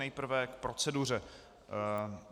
Nejprve k proceduře.